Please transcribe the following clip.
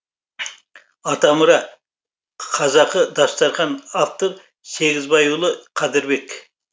атамұра қазақы дастархан автор сегізбайұлы қадірбек